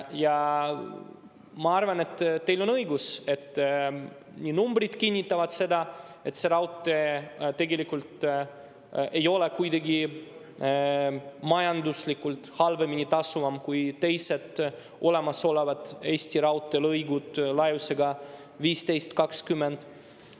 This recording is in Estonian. Ja ma arvan, et teil on õigus, numbrid kinnitavad seda, et see raudtee tegelikult ei ole kuidagi majanduslikult vähem tasuv kui teised olemasolevad Eesti raudteelõigud laiusega 1520.